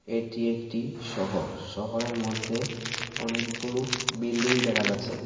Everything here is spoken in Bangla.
এটি একটি শহর শহরের মধ্যে অনেকগুলো বিল্ডিং দেখা যাচ্ছে.